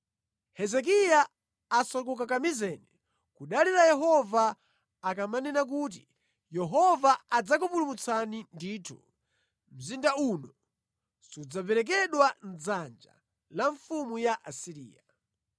Hezekiya asakukakamizeni kudalira Yehova ndi mawu akuti, ‘Ndithu, Yehova adzatipulumutsa; ndipo sadzapereka mzindawu mʼdzanja la mfumu ya ku Asiriya.’